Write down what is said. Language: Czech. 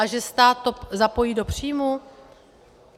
A že stát to zapojí do příjmu?